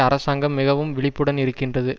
அரசாங்கம் மிகவும் விழிப்புடன் இருக்கின்றது